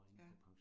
Ja